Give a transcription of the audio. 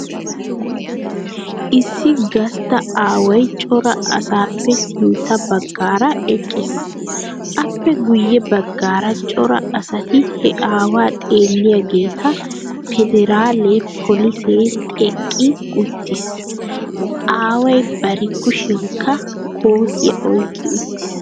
Issi gastta aaway cora asaappesintta baggaara eqqiis. Appe guyyebaggaara cora asati he aawaa xeelliyageeta pederaale polisee teqqi uttiis. Aaway bari kushiyankka kootiya oyqqi uttiis.